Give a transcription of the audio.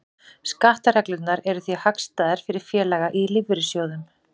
Skattareglurnar eru því hagstæðar fyrir félaga í lífeyrissjóðum.